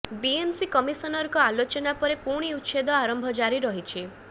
BMC କମିସନରଙ୍କ ଆଲୋଚନା ପରେ ପୁଣି ଉଚ୍ଛେଦ ଆରମ୍ଭ ଜାରି ରହିଛି